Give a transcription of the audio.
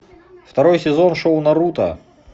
второй сезон шоу наруто